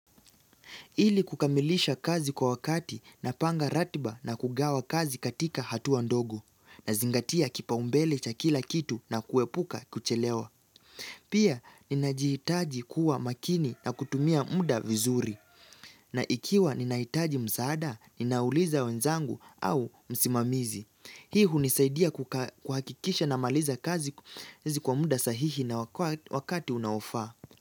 Ili kukamilisha kazi kwa wakati napanga ratiba na kugawa kazi katika hatua ndogo. Nazingatia kipaumbele cha kila kitu na kuepuka kuchelewa. Pia, ninajihitaji kuwa makini na kutumia muda vizuri. Na ikiwa ninahitaji msaada, ninauliza wenzangu au msimamizi. Hii hunisaidia kuhakikisha namaliza kazi kwa muda sahihi na wakati unaofaa.